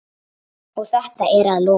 Og þetta að lokum.